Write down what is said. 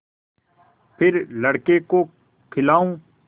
फिर लड़के को खेलाऊँ